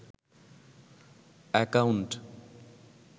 account